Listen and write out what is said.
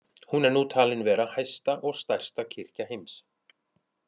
Hún er nú talin vera hæsta og stærsta kirkja heims.